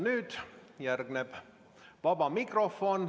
Nüüd järgneb vaba mikrofon.